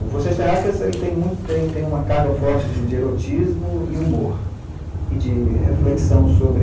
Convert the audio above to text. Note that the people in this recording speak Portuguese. O Vocês Terráqueas, ele tem muita, tem tem uma carga forte de erotismo e humor, e de reflexão sobre